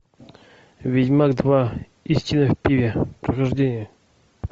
ведьмак два истина в пиве прохождение